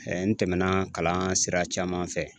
n tɛmɛna kalan sira caman fɛ.